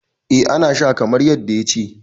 eh ana Sha kamar yadda ya ce